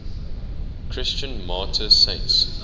christian martyr saints